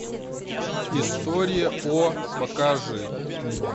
история о покажи